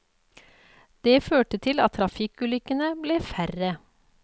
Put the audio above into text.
Det førte til at trafikkulykkene ble færre.